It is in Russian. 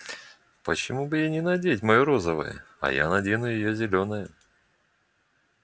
почему бы ей не надеть моё розовое а я надену её зелёное